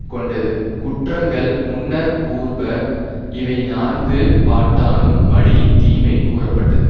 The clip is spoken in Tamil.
கொண்டது குற்றங்கள் முன்னர்க் கூறுப இவை நான்கு பாட்டானும் மடியின் தீமை கூறப்பட்டது